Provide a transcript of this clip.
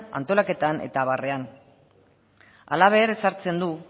antolaketan eta abarrean halaber ezartzen du